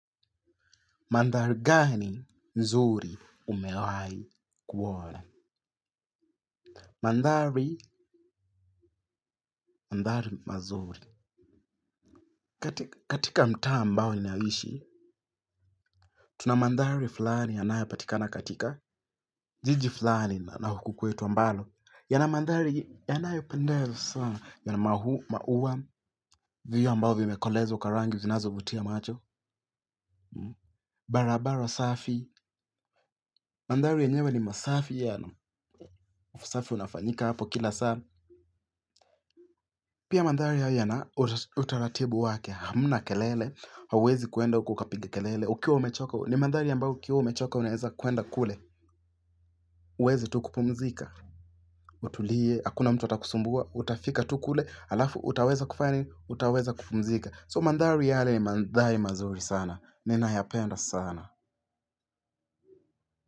Mandhari gani nzuri umewai kuona? Mandhari, mandhari mazuri. Katika mtaa ambao ni naishi, tuna mandhari fulani yanayo patikana katika. Jiji fulani na huku kwetu ambalo. Yana mandhari, yanayo pendeza sana. Yana mahu, mauwa, viyo ambao vimekolezwa kwa rangi, zinazo vutia macho. Barabarq safi. Mandhari yenyewe ni masafi yanu. Usafi unafanyika hapo kila saa. Pia mandhari haya yana utaratibu wake, hamna kelele, hauwezi kuenda huko ukapiga kelele, ukiwa umechoka, ni mandhari ambayo ukiwa umechoka unaeza kwenda kule, uweze tu kupumzika, utulie, hakuna mtu atakusumbua, utafika tu kule, alafu, utaweza kufanya nini, utaweza kupumzika, so mandhari yale ni mandhari mazuri sana, nina yapenda sana.